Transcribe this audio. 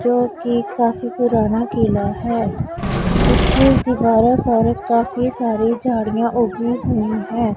जो कि काफी पुराना किला है जिसकी दीवारों पर काफी सारी झाड़ियां उगी हुई हैं।